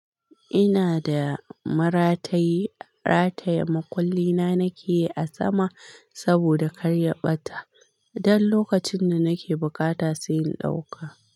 Ina da maratayi, rataya makulli na nake yi a sama saboda karya ɓata. Dan lokacin da nake bukata sai in ɗauka.